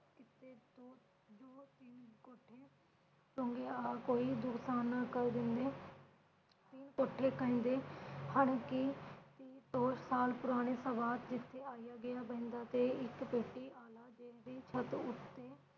ਆ ਕੋਈ ਨਾ ਕਰ ਦਿੰਦੇ ਸੀ ਉਥੇ ਦੋ ਸਾਲ ਪੁਰਾਣੇ ਆਇਆ ਗਿਆ ਬਹਿੰਦਾ ਤੇ ਇਕ ਪੇਟੀ ਆਲਾ ਜੀ ਦੀ ਛੱਤ ਉਤੇ